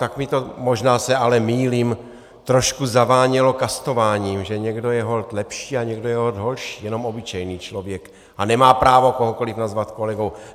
Tak mi to, možná se ale mýlím, trošku zavánělo kastováním, že někdo je holt lepší a někdo je holt horší, jenom obyčejný člověk a nemá právo kohokoli nazvat kolegou.